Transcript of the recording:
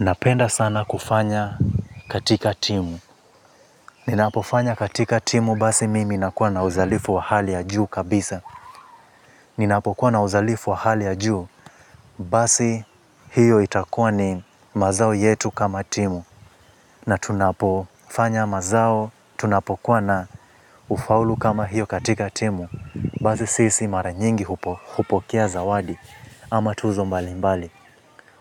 Napenda sana kufanya katika timu. Ninapofanya katika timu basi mimi inakuwa na uzalifu wa hali ya juu kabisa. Ninapokuwa na uzalifu wa hali ya juu basi hiyo itakuwa ni mazao yetu kama timu. Na tunapofanya mazao, tunapokuwa na ufaulu kama hiyo katika timu. Basi sisi mara nyingi hupo hupokea zawadi ama tuzo mbalimbali.